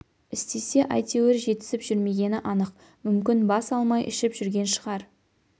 істесе әйтеуір жетісіп жүрмегені анық мүмкін бас алмай ішіп жүрген шығар